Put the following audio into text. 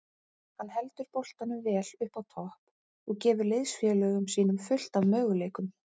Hann heldur boltanum vel uppi á topp og gefur liðsfélögum sínum fullt af möguleikum.